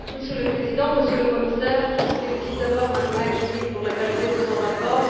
Monsieur le Président, Monsieur le Commissaire, je félicite d'abord M Joly pour la qualité de son rapport.